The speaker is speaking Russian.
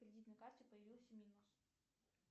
кредитной карте появился минус